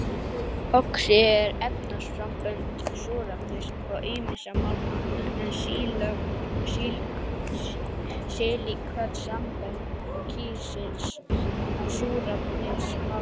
Oxíð eru efnasambönd súrefnis og ýmissa málma, en silíköt sambönd kísils, súrefnis og málma.